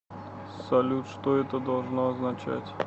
салют что это должно означать